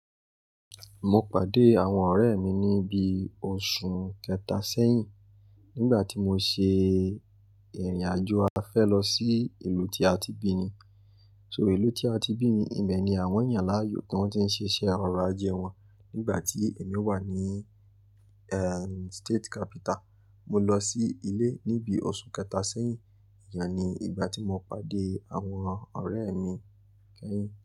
Mo pàdé àwọn ọ̀rẹ́ mi ní bí oṣù kẹta sẹ́yìn nígbà tí mo ṣe ìrìn ájò afẹ́ lọ sí ìlú tí a ti bí mi. So ìlú tí a ti bí mi, ibẹ̀ ni àwọn yàn láàyò tí wọ́n ti ń ṣiṣẹ́ ọrọ̀ ajé wọn. Nígbà tí èmi wà ní, ehn, state capital, mo lọ sí ilé níbi oṣù kẹta sẹ́yìn. Íyá mi, ìgbà tí mo pàdé àwọn ọ̀rẹ́ mi kẹ́yìn.